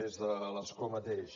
des de l’escó mateix